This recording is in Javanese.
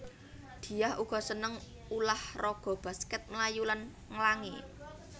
Diah uga seneng ulah raga baskèt mlayu lan nglangi